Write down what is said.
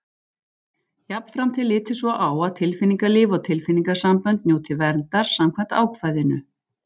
Jafnframt er litið svo á að tilfinningalíf og tilfinningasambönd njóti verndar samkvæmt ákvæðinu.